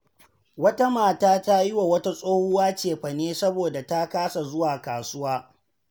Wata mata ta yi wa wata tsohuwa cefane saboda ta kasa zuwa kasuwa.